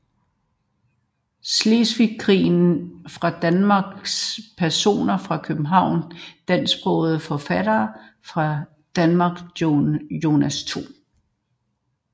Slesvigske Krig fra Danmark Personer fra København Dansksprogede forfattere fra Danmark Jonas 2